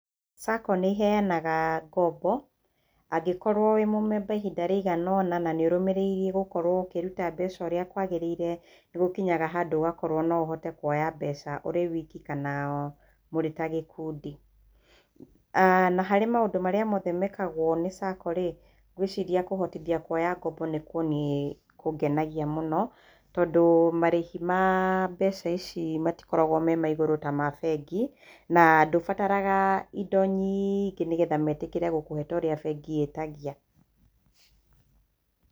SACCO nĩ iheanaga ngombo. Angĩkorwo wĩ mũmemba ihinda rĩigana ũna na nĩ ũrũmĩrĩire gũkorwo ũkĩruta mbeca ũrĩa kwagĩrĩire, nĩ gũkinyaga handũ ũgakorwo no ũhote kũoya mbeca ũrĩ wiki kana mũrĩ ta gĩkundi. Na harĩ maũndũ marĩa mothe meekagwo nĩ SACCO rĩ, ngwĩciria kũhotithia kũoya ngombo nĩkuo niĩ kũngenagia mũno, tondũ marĩhi ma mbeca ici matikoragwo me maigũrũ ta ma bengi na ndũbataraga indo nyingĩ nĩgetha meetĩkĩre gũkũhe ta ũrĩa bengi ĩtagia.